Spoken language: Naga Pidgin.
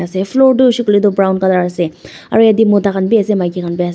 se floor tu hoishey koilae tu brown colour ase aru yatae mota khan bi ase maki khan bi ase.